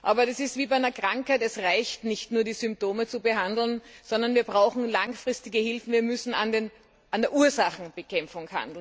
Aber das ist wie bei einer Krankheit Es reicht nicht, nur die Symptome zu behandeln, sondern wir brauchen langfristige Hilfen, wir müssen die Ursachen bekämpfen.